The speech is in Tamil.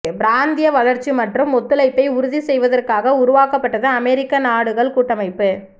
பிராந்திய வளர்ச்சி மற்றும் ஒத்துழைப்பை உறுதி செய்வதற்காக உருவாக்கப்பட்டது அமெரிக்க நாடுகள் கூட்டமைப்பு